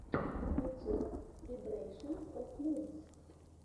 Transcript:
ютуб вибрэйшэнс оф мудс